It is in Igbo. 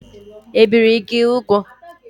Ebìri gị úgwù?